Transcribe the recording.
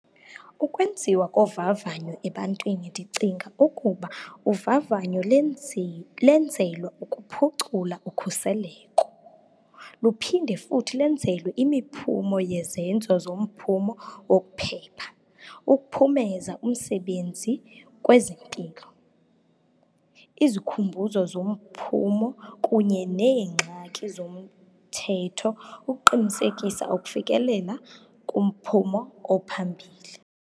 Ukwenziwa kovavanyo ebantwini, ndicinga ukuba uvavanyo lenzelwa ukuphucula ukukhuseleko. Luphinde futhi lenzelwe imiphumo yezenzo zomphumo wokuphepha, ukuphumeza umsebenzi kwezempilo, izikhumbuzo zomphumo kunye neengxaki zomthetho, ukuqinisekisa ukufikelela kumphumo ophambili.